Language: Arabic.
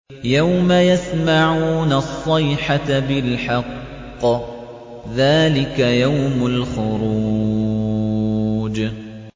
يَوْمَ يَسْمَعُونَ الصَّيْحَةَ بِالْحَقِّ ۚ ذَٰلِكَ يَوْمُ الْخُرُوجِ